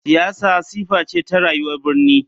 Siyasa sifa ce ta rayuwar birni.